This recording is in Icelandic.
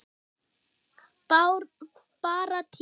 Bara tíma